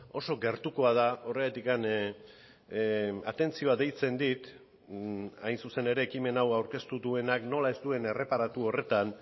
oso gertukoa da horregatik atentzioa deitzen dit hain zuzen ere ekimen hau aurkeztu duenak nola ez duen erreparatu horretan